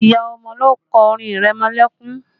Ìyá ọmọ ló kọ orin ìrẹmọlẹ́kún